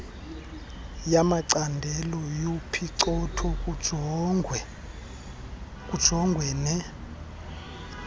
yamacandelo yophicotho kujongwene